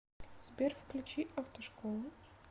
сбер включи автошколу